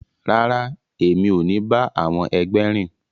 Rara, emi o ni ba àwọn ẹgbẹ rìn!